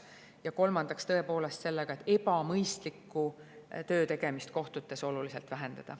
Ja kolmandaks tegeleme tõepoolest sellega, et ebamõistliku töö tegemist kohtutes oluliselt vähendada.